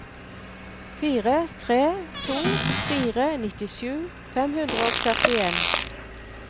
fire tre to fire nittisju fem hundre og førtien